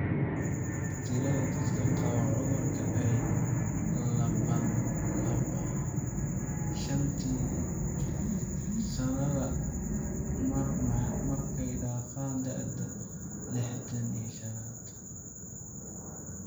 Tirada dadka qaba cudurka ayaa labanlaabma shantii sanaba mar marka ay dhaafaan da'da lixdhan iyo shaan .